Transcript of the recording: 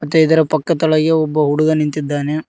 ಮತ್ತೆ ಇದರ ಪಕ್ಕ ತಳಾಗೆ ಒಬ್ಬ ಹುಡುಗ ನಿಂತಿದ್ದಾನೆ.